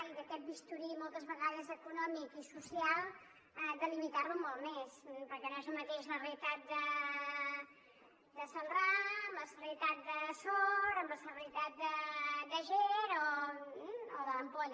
i aquest bisturí moltes vegades econòmic i social delimitar lo molt més perquè no és el mateix la realitat de celrà la realitat de sort la realitat d’àger o de l’ampolla